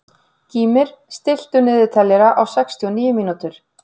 Gýmir, stilltu niðurteljara á sextíu og níu mínútur.